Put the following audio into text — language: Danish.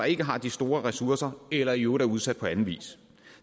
ikke har de store ressourcer eller i øvrigt er udsat på anden vis